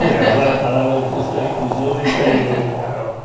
Agora a palavra que sai com os